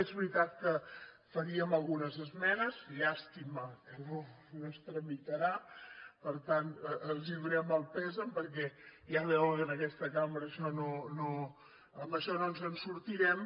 és veritat que faríem algunes esmenes llàstima que no es tramitarà per tant els donem el condol perquè ja veuen que en aquesta cambra amb això no ens en sortirem